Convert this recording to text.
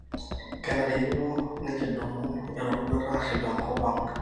kenarikino nikidumu eroruata aarip enkop ang